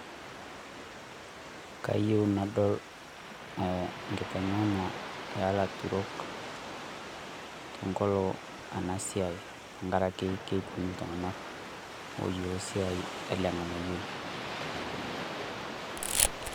kayieu nadol nkiteng`ena eelaturok tenkolo ena sia tenkaraki kekunyik iltung`anak oyiolo siai ele ng`anayioi.